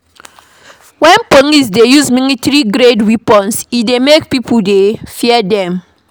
When police dey use military grade weapons e dey make pipo dey fear dem